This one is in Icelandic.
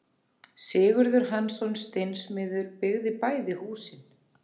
Sigurður Hansson steinsmiður byggði bæði húsin.